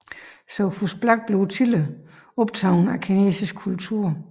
Sophus Black blev tidligt optaget af kinesisk kultur